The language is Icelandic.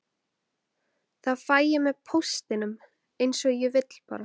Það fæ ég með póstinum, eins og ég vil bara.